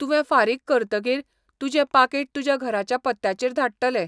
तुवें फारीक करतकीर, तुजें पाकीट तुज्या घराच्या पत्त्याचेर धाडटले.